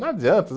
Não adianta.